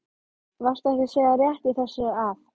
Varstu ekki að segja rétt í þessu að?